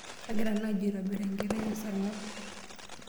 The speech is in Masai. Kagira naaji aitobir enkiteng te sarng'ab.